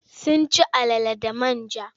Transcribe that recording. Sun ci alala da man ja.